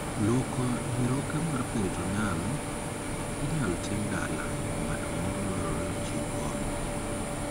Luoko nyiroke mar 'peritoneal' inyal tim dala, to ng'at moro dwarore ochiw kony.